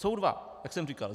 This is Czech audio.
Jsou dva, jak jsem říkal.